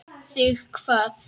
Þig hvað?